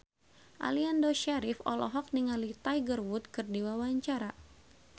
Aliando Syarif olohok ningali Tiger Wood keur diwawancara